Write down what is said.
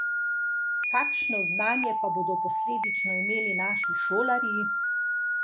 Kakšno znanje pa bodo posledično imeli naši šolarji?